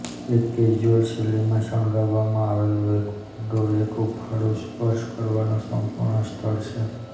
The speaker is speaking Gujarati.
એક કેઝ્યુઅલ શૈલીમાં શણગારવામાં આવેલું એક ઓરડો એ હૂંફાળુનો સ્પર્શ કરવાનો સંપૂર્ણ સ્થળ છે